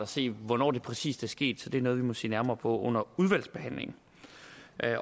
se hvornår det præcis er sket så det er noget vi må se nærmere på under udvalgsbehandlingen